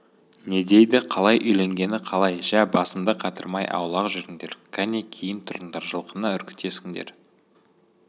не дейді қалай үйленгені қалай жә басымды қатырмай аулақ жүріңдер кәне кейін тұрыңдар жылқыны үркітесіңдер